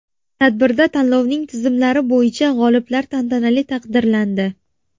Tadbirda tanlovning tizimlar bo‘yicha g‘oliblari tantanali taqdirlandi.